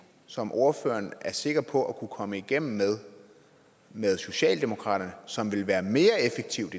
som ordføreren er sikker på at kunne komme igennem med med socialdemokratiet som vil være mere effektivt